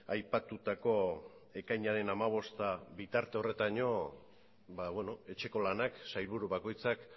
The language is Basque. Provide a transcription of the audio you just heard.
aipatutako ekainaren hamabosteraino etxeko lanak sailburu bakoitzak